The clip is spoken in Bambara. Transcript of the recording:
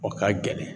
O ka gɛlɛn